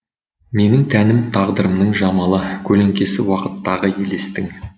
менің тәнім тағдырымның жамалы көлеңкесі уақыттағы елестің